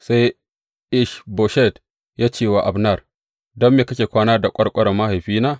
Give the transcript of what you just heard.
Sai Ish Boshet ya ce wa Abner, Don me kake kwana da ƙwarƙwarar mahaifina?